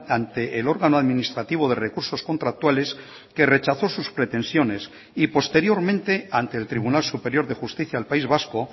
ante el órgano administrativo de recursos contractuales que rechazó sus pretensiones y posteriormente ante el tribunal superior dejusticia del país vasco